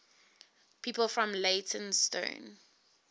people from leytonstone